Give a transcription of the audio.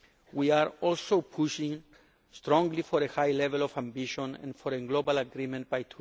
We are also pushing strongly for a high level of ambition and for a global agreement